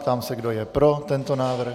Ptám se, kdo je pro tento návrh.